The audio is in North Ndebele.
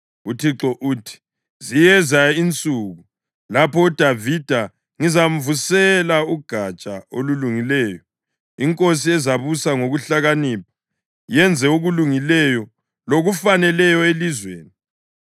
UThixo uthi, “Ziyeza insuku, lapho uDavida ngizamvusela uGatsha olulungileyo, iNkosi ezabusa ngokuhlakanipha, yenze okulungileyo, lokufaneleyo elizweni.